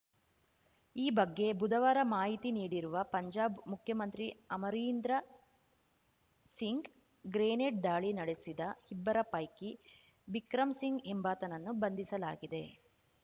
ಈ ಬಗ್ಗೆ ಬುಧವಾರ ಮಾಹಿತಿ ನೀಡಿರುವ ಪಂಜಾಬ್‌ ಮುಖ್ಯಮಂತ್ರಿ ಅಮರೀಂದ್ರ ಸಿಂಗ್‌ ಗ್ರೇನೇಡ್‌ ದಾಳಿ ನಡೆಸಿದ ಇಬ್ಬರ ಪೈಕಿ ಬಿಕ್ರಂ ಸಿಂಗ್‌ ಎಂಬಾತನನ್ನು ಬಂಧಿಸಲಾಗಿದೆ